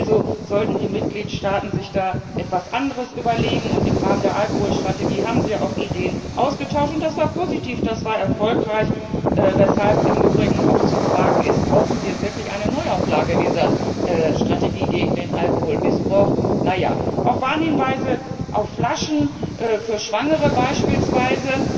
Also sollten die Mitgliedstaaten sich da etwas anderes überlegen, und im Rahmen der Alkoholstrategie haben sie ja auch Ideen ausgetauscht, und das war positiv, das war erfolgreich, weshalb im Übrigen auch zu fragen ist, ob wir wirklich eine Neuauflage dieser Strategie gegen den Alkoholmissbrauch brauchen. Na ja. Auch Warnhinweise auf Flaschen für Schwangere beispielsweise